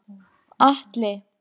Atli